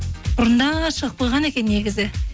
бұрында шығып қойған екен негізі